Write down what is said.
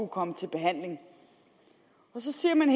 komme i behandling og så siger man